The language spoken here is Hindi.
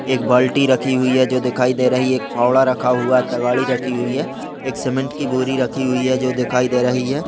एक बाल्टी रखी हुई है जो दिखाई दे रही है एक फावड़ा रखा हुआ है तगारी रखी हुई है एक सीमेंट की बोरी रखी हुई है जो दिखाई दे रही है।